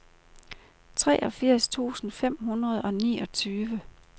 treogfirs tusind fem hundrede og niogtyve